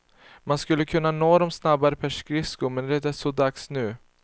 Man skulle nå dem snabbare per skridsko, men det är så dags nu.